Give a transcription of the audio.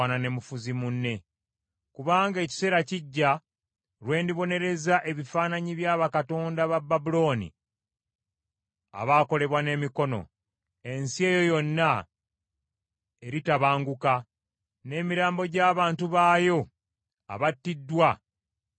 Kubanga ekiseera kijja lwe ndibonereza ebifaananyi bya bakatonda ba Babulooni abaakolebwa n’emikono; ensi eyo yonna eritabanguka, n’emirambo gy’abantu baayo abattiddwa gyonna gibeere omwo.